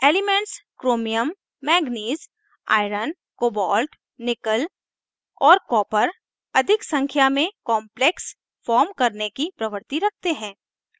elements chromium manganese iron cobalt nickel और copper अधिक संख्या में complexes form करने की प्रवृत्ति रखते हैं